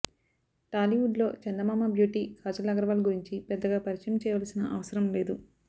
టాలీవుడ్ లో చందమామ బ్యూటీ కాజల్ అగర్వాల్ గురించి పెద్దగా పరిచయం చేయవలసిన అవసరం లేదు